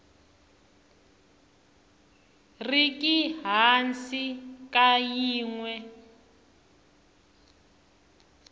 riki hansi ka yin we